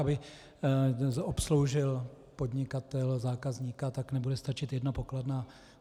Aby obsloužil podnikatel zákazníka, tak nebude stačit jedna pokladna.